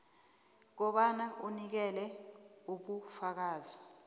kobana unikele ubufakazi